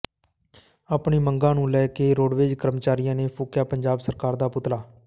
ਆਪਣੀ ਮੰਗਾਂ ਨੂੰ ਲੈ ਕੇ ਰੋਡਵੇਜ ਕਰਮਚਾਰੀਆਂ ਨੇ ਫੂਕਿਆ ਪੰਜਾਬ ਸਰਕਾਰ ਦਾ ਪੁਤਲਾ